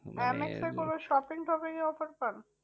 M এক্সের কোনো shopping topping এর offer পান?